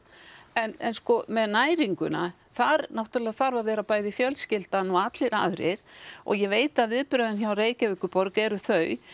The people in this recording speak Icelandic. en sko með næringuna þar náttúrulega þarf að vera bæði fjölskyldan og allir aðrir og ég veit að viðbrögðin hjá Reykjavíkurborg eru þau